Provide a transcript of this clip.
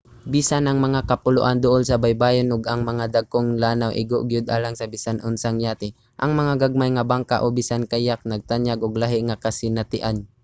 bisan ang mga kapuloan duol sa baybayon ug ang mga dagkong lanaw igo gyud alang sa bisan unsang yate ang mga gagmay nga bangka o bisan kayak nagtanyag og lahi nga kasinatian